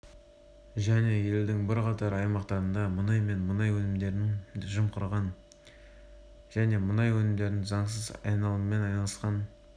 және елдің бірқатар аймақтарында мұнай және мұнай өнімдерін жымқырған және мұнай өнімдерінің заңсыз айналымымен айналысқан